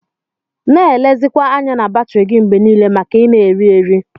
Na elizikwa anya na batri gi mgbe nile maka ina eri-eri.